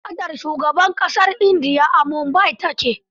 Da fadar shugaban ƙasar India a Mumbai ta ke..